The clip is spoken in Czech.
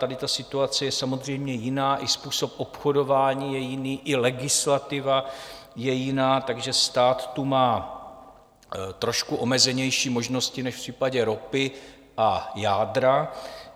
Tady ta situace je samozřejmě jiná, i způsob obchodování je jiný i legislativa je jiná, takže stát tu má trošku omezenější možnosti než v případě ropy a jádra.